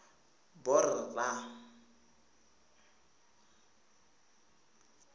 borra